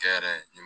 Kɛ yɛrɛ ni